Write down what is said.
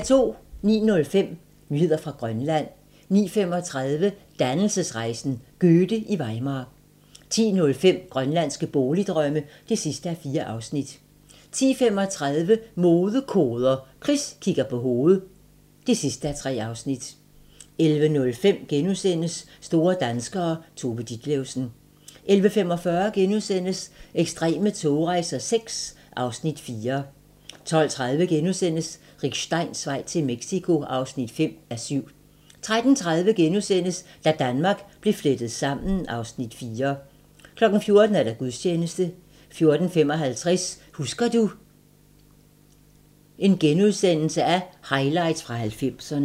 09:05: Nyheder fra Grønland 09:35: Dannelsesrejsen - Goethe i Weimar 10:05: Grønlandske Boligdrømme (4:4) 10:35: Modekoder – Chris kigger på hoved (3:3) 11:05: Store danskere - Tove Ditlevsen * 11:45: Ekstreme togrejser VI (Afs. 4)* 12:30: Rick Steins vej til Mexico (5:7)* 13:30: Da Danmark blev flettet sammen (Afs. 4)* 14:00: Gudstjeneste 14:55: Husker du - Highlights fra 90'erne *